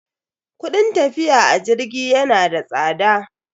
Kudin tafiya a jirgi yana da tsada.